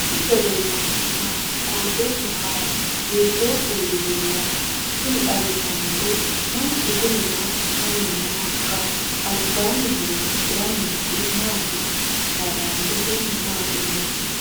kowiicho leellannori maati ? qooxeessu maa lawaanno ? hiitoo kuuli leellanno ? tini xawissannori mnchu kuni maa assanni noohoikka albaanni horoonsiranni noori maati haylandete maati noohu